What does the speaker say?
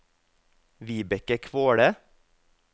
Vibeke Kvåle